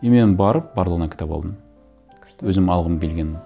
и мен барып барлығына кітап алдым күшті өзім алғым келгенін